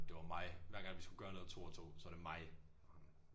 Det var mig hver gang vi skulle gøre noget 2 og 2 så var det mig og ham